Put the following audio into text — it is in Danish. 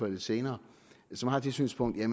lidt senere som har det synspunkt at